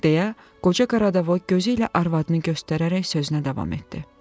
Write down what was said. deyə qoca Qaradavoy gözü ilə arvadını göstərərək sözünə davam etdi.